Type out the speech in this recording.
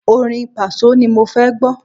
Orin Pàsó ni mo fẹ́ gbọ́.